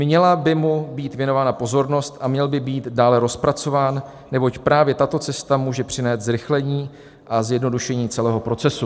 Měla by mu být věnována pozornost a měl by být dál rozpracován, neboť právě tato cesta může přinést zrychlení a zjednodušení celého procesu."